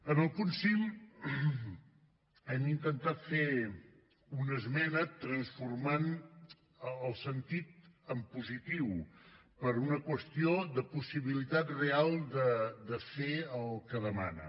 en el punt cinc hem intentat fer una esmena transformant el sentit en positiu per una qüestió de possibilitat real de fer el que demana